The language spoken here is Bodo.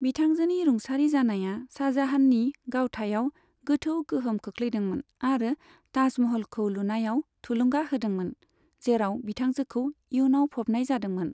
बिथांजोनि रुंसारि जानाया शाहजाहाननि गावथायाव गोथौ गोहोम खोख्लैदोंमोन आरो ताजमहलखौ लुनायाव थुलुंगा होदोंमोन, जेराव बिथांजोखौ इयुनाव फबनाय जादोंमोन।